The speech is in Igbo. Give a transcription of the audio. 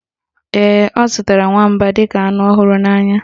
Ee, ọ zụtara nwamba dịka anụ ọ hụrụ n'anya